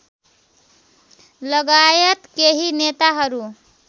लगायत केही नेताहरू